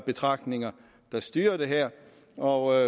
betragtninger der styrer det her og